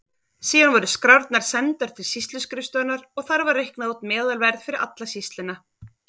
Síðan voru skrárnar sendar til sýsluskrifstofunnar og þar var reiknað út meðalverð fyrir alla sýsluna.